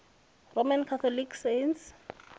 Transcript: roman catholic saints